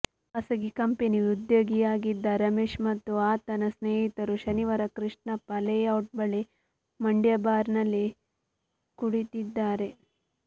ಖಾಸಗಿ ಕಂಪನಿ ಉದ್ಯೋಗಿಯಾಗಿದ್ದ ರಮೇಶ್ ಮತ್ತು ಆತನ ಸ್ನೇಹಿತರು ಶನಿವಾರ ಕೃಷ್ಣಪ್ಪ ಲೇಔಟ್ ಬಳಿ ಮಂಡ್ಯ ಬಾರ್ ನಲ್ಲಿ ಕುಡಿದಿದ್ದಾರೆ